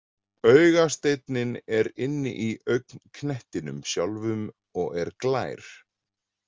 Augasteinninn er inni í augnknettinum sjálfum og er glær.